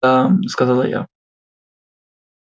мда сказала я